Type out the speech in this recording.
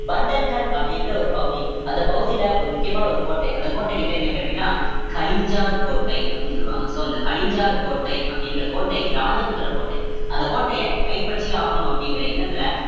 வண்டல் கண் அப்படிங்கிற ஒரு பகுதி அந்த பகுதியில ஒரு முக்கியமான ஒரு கோட்டை அந்த கோட்டைக்கு பேரு என்ன பேரு அப்படின்னா கலிஞ்சர் கோட்டை அப்படின்னு சொல்லுவாங்க so அந்த கலிஞ்சர் கோட்டை அப்படிங்கிற கோட்டை ராஜபுத்திர கோட்டை அந்த கோட்டையை கைப்பற்றியே ஆகணும் அப்படிங்கிற எண்ணத்துல